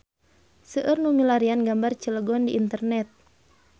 Seueur nu milarian gambar Cilegon di internet